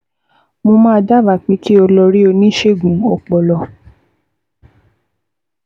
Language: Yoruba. Mo máa dábàá pé kí o lọ rí oníṣègùn ọpọlọ